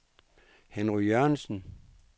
Henry Jørgensen